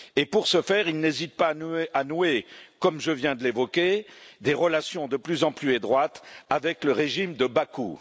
Pour ce faire, ils n'hésitent pas à nouer, comme je viens de l'évoquer, des relations de plus en plus étroites avec le régime de Bakou.